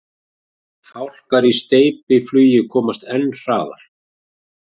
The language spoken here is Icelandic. Fálkar í steypiflugi komast enn hraðar.